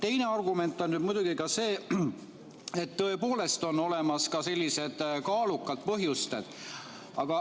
Teine argument on muidugi see, et tõepoolest on olemas ka sellised kaalukad põhjused.